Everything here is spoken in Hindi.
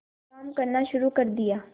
काम करना शुरू कर दिया